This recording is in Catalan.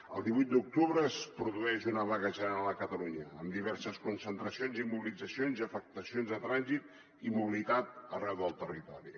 el divuit d’octubre es produeix una vaga general a catalunya amb diverses concentracions i mobilitzacions i afectacions de trànsit i mobilitat arreu del territori